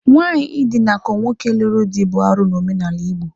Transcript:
Nwaanyị idinakọ nwoke lụrụ dị bụ arụ n'omenala Igbo.